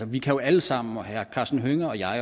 vi jo alle sammen både herre karsten hønge og jeg